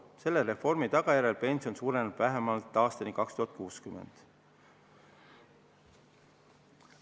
Selle reformi tagajärjel pension suureneb vähemalt aastani 2060.